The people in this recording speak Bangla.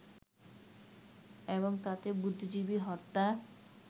এবং তাতে বুদ্ধিজীবী হত্যার